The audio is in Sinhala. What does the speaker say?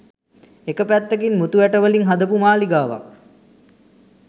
එක පැත්තකින් මුතු ඇට වලින් හදපු මාළිගාවක්